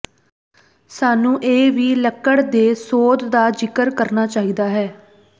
ਸਾਨੂੰ ਇਹ ਵੀ ਲੱਕੜ ਦੇ ਸੋਧ ਦਾ ਜ਼ਿਕਰ ਕਰਨਾ ਚਾਹੀਦਾ ਹੈ